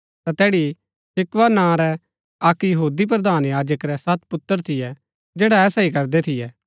ता तैड़ी स्क्किवा नां रै अक्क यहूदी प्रधान याजक रै सत पुत्र थियै जैडा ऐसा ही करदै थियै